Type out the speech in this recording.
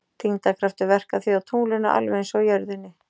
Þyngdarkraftur verkar því á tunglinu alveg eins og á jörðinni.